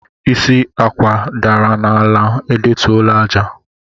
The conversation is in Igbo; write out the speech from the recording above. Isi Akwụ dara n'ala, edetụla àjà.